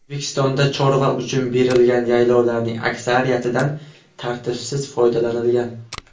O‘zbekistonda chorva uchun berilgan yaylovlarning aksariyatidan tartibsiz foydalanilgan.